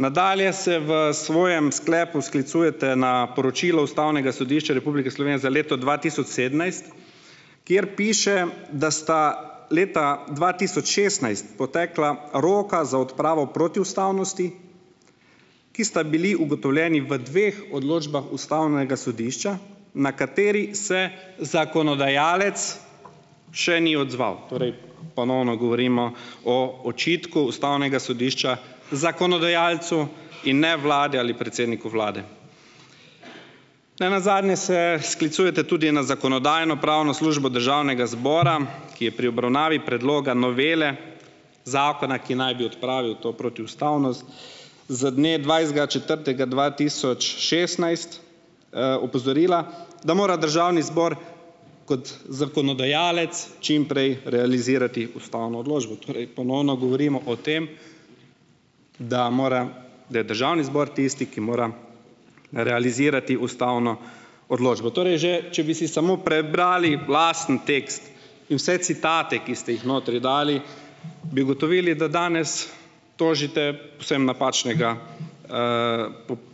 Nadalje se v svojem sklepu sklicujete na poročilo ustavnega sodišča Republike Slovenije za leto dva tisoč sedemnajst, kjer piše, da sta leta dva tisoč šestnajst potekla roka za odpravo protiustavnosti, ki sta bili ugotovljeni v dveh odločbah ustavnega sodišča, na kateri se zakonodajalec še ni odzval. Torej ponovno govorimo o očitku ustavnega sodišča zakonodajalcu in ne vladi ali predsedniku vlade. Nenazadnje se sklicujete tudi na zakonodajno-pravno službo državnega zbora, ki je pri obravnavi predloga novele zakona, ki naj bi odpravil to protiustavnost z dne dvajsetega četrtega dva tisoč šestnajst, opozorila, da mora državni zbor kot zakonodajalec čim prej realizirati ustavno odločbo. Torej ponovno govorimo o tem, da mora, da je državni zbor tisti, ki mora realizirati ustavno odločbo. Torej že če bi si samo prebrali lastni tekst in vse citate, ki ste jih notri dali, bi ugotovili, da danes tožite psem napačnega,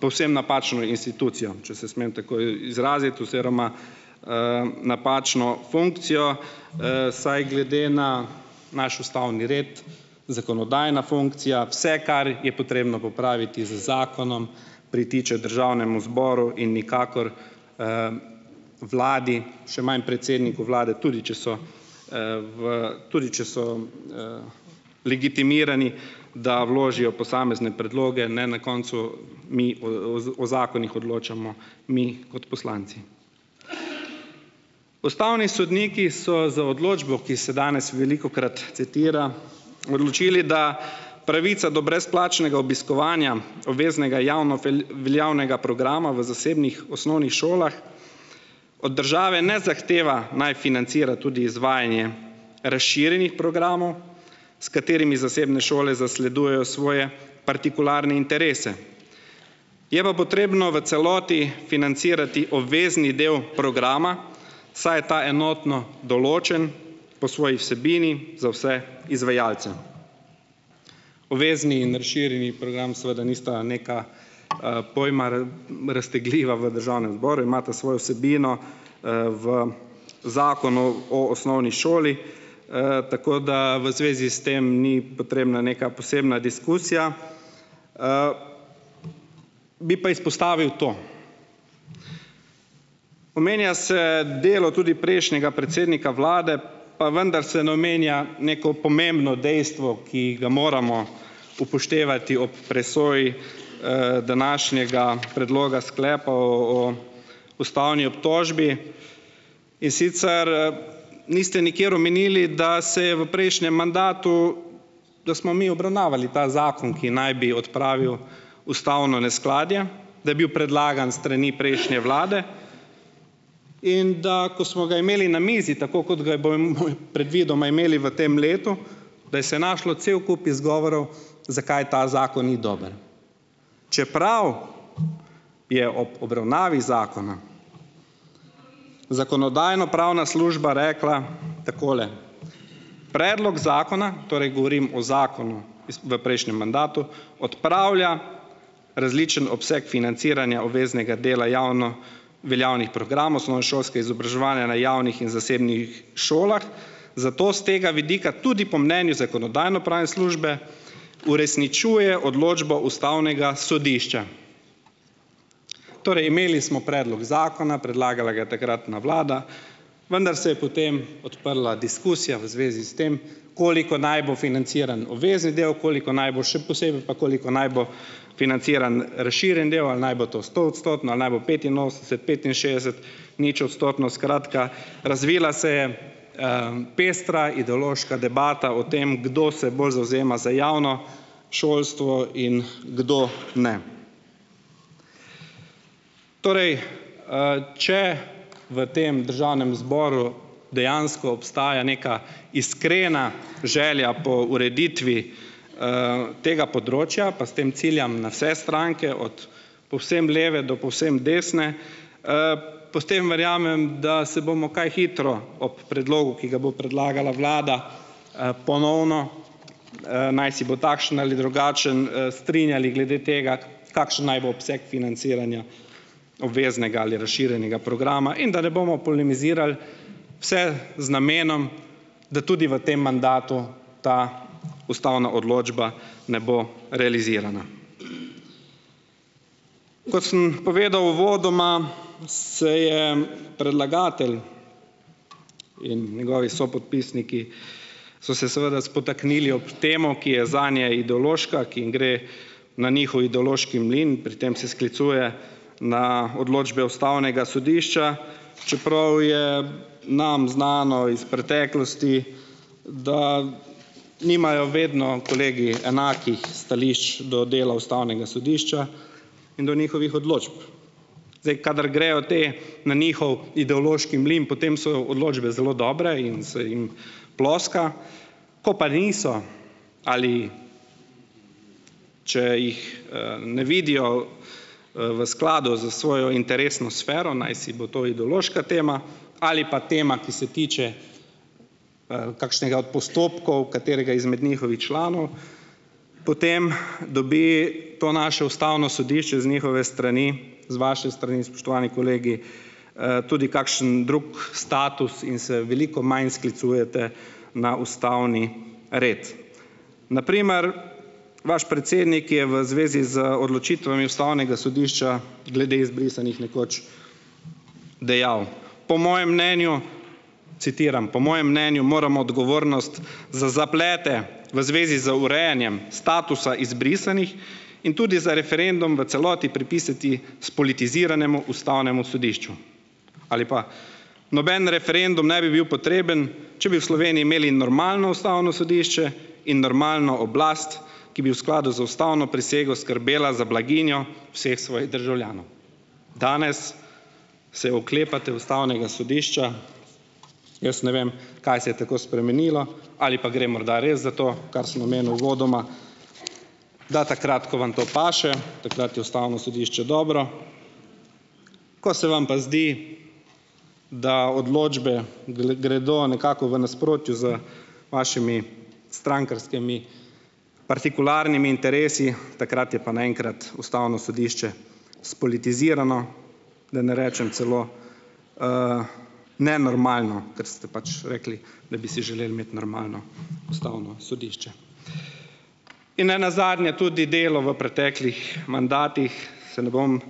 povsem napačno institucijo, če se smem tako izraziti oziroma, napačno funkcijo, saj glede na naš ustavni red zakonodajna funkcija, vse kar je potrebno popraviti z zakonom, pritiče državnemu zboru in nikakor, vladi, še manj predsedniku vlade, tudi če so, v tudi če so, legitimirani, da vložijo posamezne predloge, ne. Na koncu mi o o zakonih odločamo mi kot poslanci. Ustavni sodniki so z odločbo, ki se danes velikokrat citira, odločili, da pravica do brezplačnega obiskovanja obveznega javno veljavnega programa v zasebnih osnovnih šolah od države ne zahteva, naj financira tudi izvajanje razširjenih programov, s katerimi zasebne šole zasledujejo svoje partikularne interese. Je pa potrebno v celoti financirati obvezni del programa, saj je ta enotno določen po svoji vsebini za vse izvajalce. Obvezni in razširjeni program seveda nista neka, pojma raztegljiva v državnem zboru, imata svojo vsebino, v Zakonu o osnovni šoli, tako da v zvezi s tem ni potrebna neka posebna diskusija. Bi pa izpostavil to: Omenja se delo tudi prejšnjega predsednika vlade, pa vendar se ne omenja neko pomembno dejstvo, ki ga moramo upoštevati ob presoji, današnjega predloga sklepa o ustavni obtožbi, in sicer, niste nikjer omenili, da se je v prejšnjem mandatu, da smo mi obravnavali ta zakon, ki naj bi odpravil ustavno neskladje, da je bil predlagan s strani prejšnje vlade, in da ko smo ga imeli na mizi, tako kot ga bomo predvidoma imeli v tem letu, da se je našlo cel kup izgovorov, zakaj ta zakon ni dober, čeprav je ob obravnavi zakona zakonodajno-pravna služba rekla takole: "Predlog zakona - torej govorim o zakonu iz v prejšnjem mandatu - odpravlja različen obseg financiranja obveznega dela javno veljavnih programov osnovnošolskega izobraževanja na javnih in zasebnih šolah, zato s tega vidika tudi po mnenju zakonodajno-pravne službe uresničuje odločbo ustavnega sodišča." Torej, imeli smo predlog zakona, predlagala ga je takratna vlada, vendar se je potem odprla diskusija v zvezi s tem, koliko naj bo financiran obvezni del, koliko naj bo še posebej pa koliko naj bo financiran razširjeni del, ali naj bo to stoodstotno, ali naj bo petinosemdeset-, petinšestdeset-, ničodstotno. Skratka, razvila se je, pestra ideološka debata o tem, kdo se bolj zavzema za javno šolstvo in kdo ne. Torej, če v tem državnem zboru dejansko obstaja neka iskrena želja po ureditvi, tega področja, pa s tem ciljam na vse stranke, od povsem leve do povsem desne, potem verjamem, da se bomo kaj hitro ob predlogu, ki ga bo predlagala vlada, ponovno, najsi bo takšen ali drugačen, strinjali glede tega, kakšen naj bo obseg financiranja obveznega ali razširjenega programa, in da ne bomo polemizirali vse z namenom, da tudi v tem mandatu ta ustavna odločba ne bo realizirana. Kot sem povedal uvodoma, se je predlagatelj in njegovi sopodpisniki so se seveda spotaknili ob temo, ki je zanje ideološka, ki jim gre na njihov ideološki mlin. Pri tem se sklicuje na odločbe ustavnega sodišča, čeprav je nam znano iz preteklosti, da nimajo vedno kolegi enakih stališč do dela ustavnega sodišča in do njihovih odločb. Zdaj, kadar grejo te na njihov ideološki mlin, potem so odločbe zelo dobre in se jim ploska, ko pa niso ali če jih, ne vidijo, v skladu s svojo interesno sfero, najsi bo to ideološka tema ali pa tema, ki se tiče, kakšnega od postopkov katerega izmed njihovih članov, potem dobi to naše ustavno sodišče z njihove strani, z vaše strani, spoštovani kolegi, tudi kakšen drug status in se veliko manj sklicujete na ustavni red. Na primer vaš predsednik je v zvezi z odločitvami ustavnega sodišča glede izbrisanih nekoč dejal, po mojem mnenju, citiram: "Po mojem mnenju moramo odgovornost za zaplete v zvezi z urejanjem statusa izbrisanih in tudi za referendum v celoti pripisati spolitiziranemu ustavnemu sodišču." Ali pa: "Noben referendum ne bi bil potreben, če bi v Sloveniji imeli normalno ustavno sodišče in normalno oblast, ki bi v skladu z ustavno prisego skrbela za blaginjo vseh svojih državljanov." Danes se oklepate ustavnega sodišča. Jaz ne vem, kaj se je tako spremenilo. Ali pa gre morda res za to, kar sem omenil uvodoma, da takrat, ko vam to paše, takrat je ustavno sodišče dobro, ko se vam pa zdi, da odločbe gredo nekako v nasprotju z vašimi strankarskimi partikularnimi interesi, takrat je pa naenkrat ustavno sodišče spolitizirano, da ne rečem celo, nenormalno, ker ste pač rekli, da bi si želeli imeti normalno ustavno sodišče. In ne nazadnje tudi delo v preteklih mandatih, se ne bom,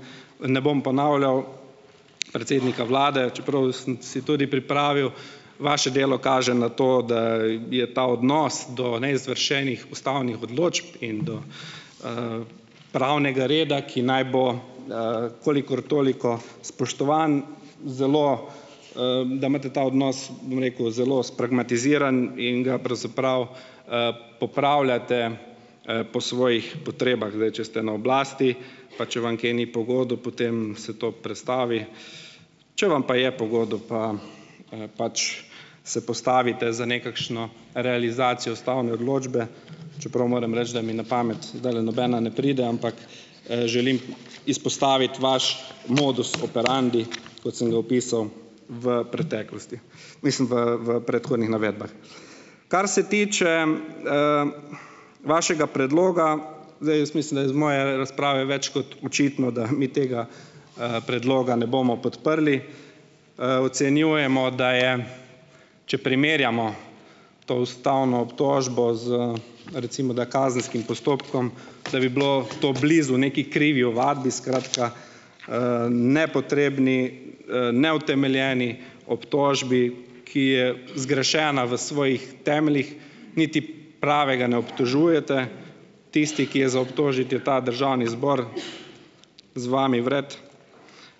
ne bom ponavljal, predsednika vlade, čeprav sem si tudi pripravil, vaše delo kaže na to, da je ta odnos do neizvršenih ustavnih odločb in do, pravnega reda, ki naj bo, kolikor toliko spoštovan, zelo, da imate ta odnos, bom rekel, zelo spragmatiziran in ga pravzaprav, popravljate, po svojih potrebah. Zdaj, če ste na oblasti, pa če vam kaj ni po godu, potem se to prestavi. Če vam pa je po godu, pa, pač se postavite za nekakšno realizacijo ustavne odločbe, čeprav moram reči, da mi na pamet zdajle nobena ne pride, ampak, želim izpostaviti vaš modus operandi, kot sem ga opisal v preteklosti, mislim v v predhodnih navedbah. Kar se tiče, vašega predloga, zdaj jaz mislim, da je iz moje razprave več kot očitno, da mi tega, predloga ne bomo podprli. Ocenjujemo, da je, če primerjamo to ustavno obtožbo z, recimo da, kazenskim postopkom, da bi bilo to blizu neki krivi ovadbi, skratka, nepotrebni, neutemeljeni obtožbi, ki je zgrešena v svojih temeljih, niti pravega ne obtožujete. Tisti, ki je za obtožiti, je ta državni zbor z vami vred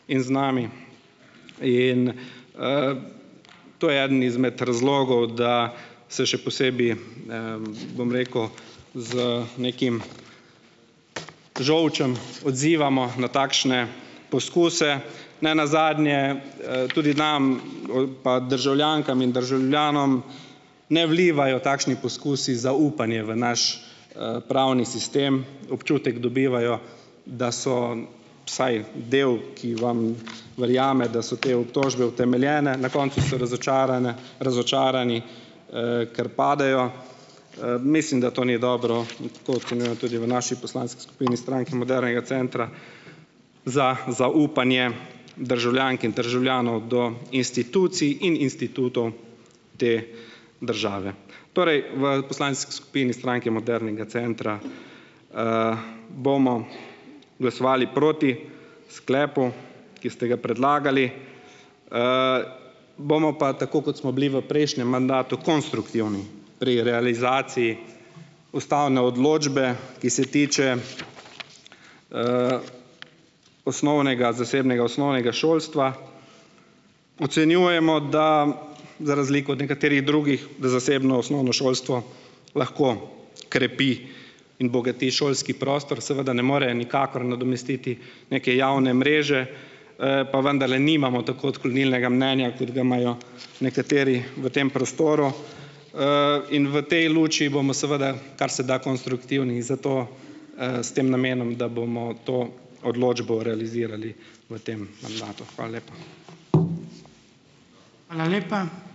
in z nami. In, to je eden izmed razlogov, da se še posebej, bom rekel, z nekim žolčem odzivamo na takšne poskuse, ne nazadnje, tudi nam, pa državljankam in državljanom, ne vlivajo takšni poskusi zaupanje v naš, pravni sistem. Občutek dobivajo, da so vsaj delu, ki vam verjame, da so te obtožbe utemeljene, na koncu so razočarane, razočarani, ker padejo. Mislim, da to ni dobro. To ocenjujemo tudi v naši poslanski skupini, Stranki Modernega centra, za zaupanje državljank in državljanov do institucij in institutov te države. Torej v poslanski skupini Stranke Modernega centra, bomo glasovali proti sklepu, ki ste ga predlagali, bomo pa, tako kot smo bili v prejšnjem mandatu, konstruktivni pri realizaciji ustavne odločbe, ki se tiče, osnovnega zasebnega osnovnega šolstva. Ocenjujemo da, za razliko od nekaterih drugih, da zasebno osnovno šolstvo lahko krepi in bogati šolski prostor, seveda ne more nikakor nadomestiti neke javne mreže, pa vendarle nimamo tako odklonilnega mnenja, kot ga imajo nekateri v tem prostoru, in v tej luči bomo seveda, kar se da konstruktivni in zato, s tem namenom, da bomo to odločbo realizirali v tem mandatu. Hvala lepa.